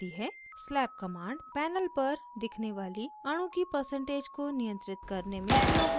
slab command panel पर दिखने वाली अणु की percentage को नियंत्रित करने में प्रयोग होती है